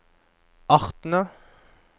artene